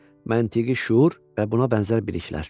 Məntiqi şuur və buna bənzər biliklər.